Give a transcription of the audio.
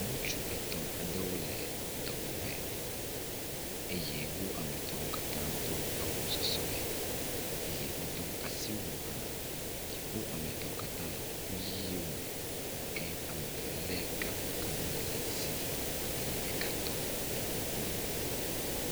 ŋutsu etɔ̃ aɖewo le dɔwɔƒe eye wó ame etɔ̃wo katã dó awu sɔsɔe eye wodó asiwu hã wó ametɔ̃wo katã le kuku yiwo mɛ ke ameve le gakpo gã ale ɖe asi eye ɖeka tɔ le wó kpɔm